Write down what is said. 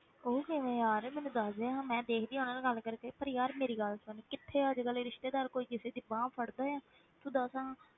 ਉਹ ਕਿਵੇਂ ਯਾਰ ਮੈਨੂੰ ਦੱਸ ਦੇ, ਮੈਂ ਦੇਖਦੀ ਹਾਂ ਉਹਨਾਂ ਨਾਲ ਗੱਲ ਕਰਕੇ, ਪਰ ਯਾਰ ਮੇਰੀ ਗੱਲ ਸੁਣ, ਕਿੱਥੇ ਅੱਜ ਕੱਲ੍ਹ ਇਹ ਰਿਸ਼ਤੇਦਾਰ ਕੋਈ ਕਿਸੇ ਦੀ ਬਾਂਹ ਫੜਦਾ ਹੈ, ਤੂੰ ਦੱਸ ਹਾਂ,